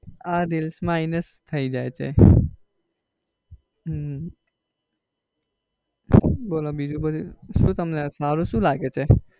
આ reels માં આવીને જ થઇ જાયછે હમ બોલો બીજું બધું શું તમને સારું શું લાગે છે?